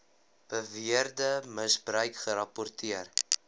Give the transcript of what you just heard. beweerde misbruik gerapporteer